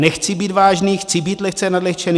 Nechci být vážný, chci být lehce nadlehčený.